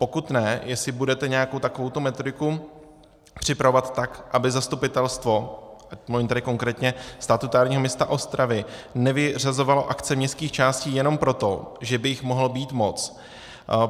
Pokud ne, jestli budete nějakou takovouto metodiku připravovat, tak aby zastupitelstvo, mluvím tedy konkrétně statutárního města Ostravy, nevyřazovalo akce městských částí jenom proto, že by jich mohlo být moc.